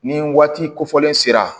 Ni waati kofɔlen sera